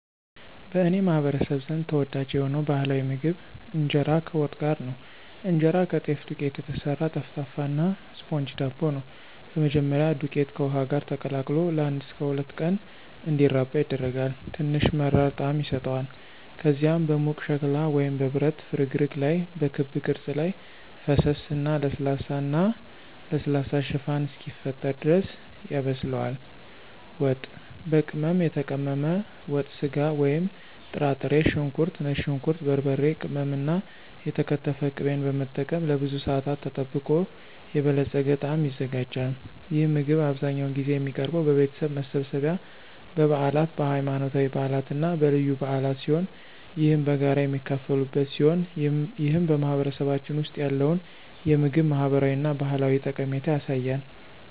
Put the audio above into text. በእኔ ማህበረሰብ ዘንድ ተወዳጅ የሆነው ባህላዊ ምግብ ኢንጄራ ከዋት ጋር ነው። እንጀራ ከጤፍ ዱቄት የተሰራ ጠፍጣፋ እና ስፖንጅ ዳቦ ነው። በመጀመሪያ, ዱቄቱ ከውሃ ጋር ተቀላቅሎ ለአንድ እስከ ሁለት ቀናት እንዲራባ ይደረጋል, ትንሽ መራራ ጣዕም ይሰጠዋል. ከዚያም በሙቅ ሸክላ ወይም በብረት ፍርግርግ ላይ በክብ ቅርጽ ላይ ፈሰሰ እና ለስላሳ እና ለስላሳ ሽፋን እስኪፈጠር ድረስ ያበስላል. ዋት፣ በቅመም የተቀመመ ወጥ ስጋ ወይም ጥራጥሬ፣ ሽንኩርት፣ ነጭ ሽንኩርት፣ በርበሬ ቅመም እና የተከተፈ ቅቤን በመጠቀም ለብዙ ሰአታት ተጠብቆ የበለፀገ ጣዕም ይዘጋጃል። ይህ ምግብ አብዛኛውን ጊዜ የሚቀርበው በቤተሰብ መሰብሰቢያ፣ በበዓላት፣ በሃይማኖታዊ በዓላት እና በልዩ በዓላት ሲሆን ይህም በጋራ የሚካፈሉበት ሲሆን ይህም በማህበረሰባችን ውስጥ ያለውን የምግብ ማህበራዊ እና ባህላዊ ጠቀሜታ ያሳያል።